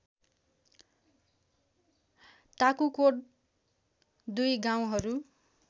ताकुकोट दुई गाउँहरू